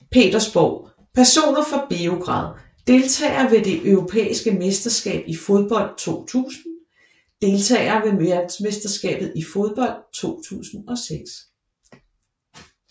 Petersborg Personer fra Beograd Deltagere ved det europæiske mesterskab i fodbold 2000 Deltagere ved verdensmesterskabet i fodbold 2006